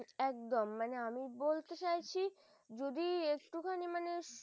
একদম মানে আমি আমি বলতে চাইছি যদি একটুখানি মানে